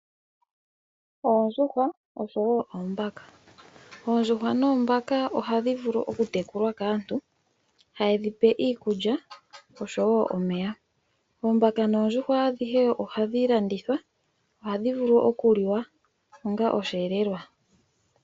Oondjuhwa osho wo oombaka. Oondjuhwa noombaka ohadhi vulu okutekulwa kaantu haye dhipe iikulya osho wo omeya. Oombaka noondjuhwa ohadhi landithwa, ohadhi vulu okuliwa onga osheelelwa.